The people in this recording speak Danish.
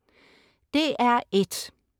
DR1: